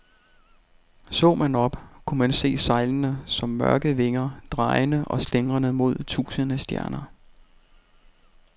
Så man op, kunne man se sejlene som mørke vinger, drejende og slingrende mod tusinde stjerner.